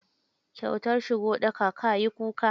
Kyautar shigo ɗaka, ka yi kuka.